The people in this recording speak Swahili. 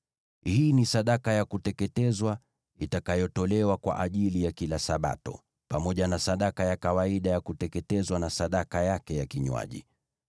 Hii ni sadaka ya kuteketezwa itakayotolewa kwa ajili ya kila Sabato, pamoja na sadaka ya kawaida ya kuteketezwa na sadaka yake ya kinywaji.